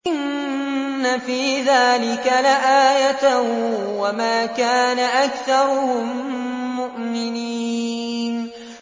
إِنَّ فِي ذَٰلِكَ لَآيَةً ۖ وَمَا كَانَ أَكْثَرُهُم مُّؤْمِنِينَ